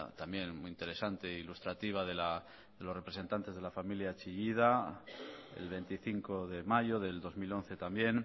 también muy interesante e ilustrativa de los representantes de la familia chillida el veinticinco de mayo del dos mil once también